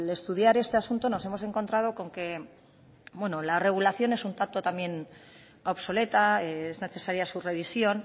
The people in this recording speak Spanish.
estudiar este asunto nos hemos encontrado con que la regulación es un tanto también obsoleta es necesaria su revisión